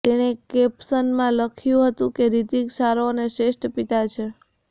તેણે કેપશનમાં લખ્યું હતુ કે રિતિક સારો અને શ્રેષ્ઠ પિતા છે